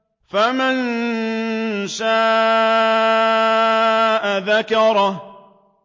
فَمَن شَاءَ ذَكَرَهُ